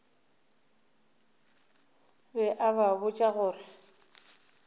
be a ba botša gore